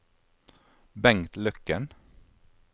Bengt Løkken